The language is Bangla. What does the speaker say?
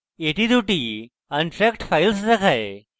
এটি দুটি untracked files দেখায়